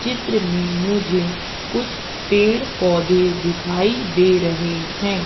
चित्र में मुझे कुछ पेड़ पौधे दिखाई दे रहे हैं।